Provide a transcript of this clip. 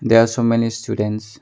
They are so many students.